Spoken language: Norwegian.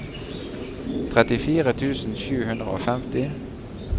trettifire tusen sju hundre og femti